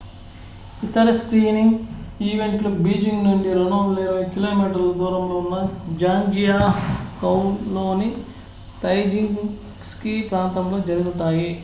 ఇతర స్కీయింగ్ ఈవెంట్లు బీజింగ్ నుండి 220 కి.మీ 140 మైళ్ళు దూరంలో ఉన్న జాంగ్జియాకౌలోని తైజిచెంగ్ స్కీ ప్రాంతంలో జరుగుతాయి